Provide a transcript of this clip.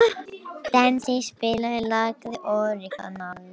Dengsi, spilaðu lagið „Orginal“.